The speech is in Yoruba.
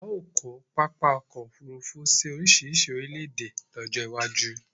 A o ko papa ọkọ ofurufu si orisirisi orile ede lojo iwaju